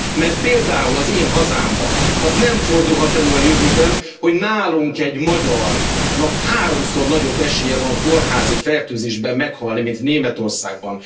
Mert például az én hazámban az nem fordulhat elő a jövőben, hogy nálunk egy magyarnak háromszor nagyobb esélye van kórházi fertőzésben meghalni, mint Németországban